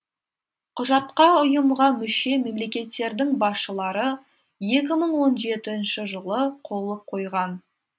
құжатқа ұйымға мүше мемлекеттердің басшылары екі мың он жетінші жылы қолы қойған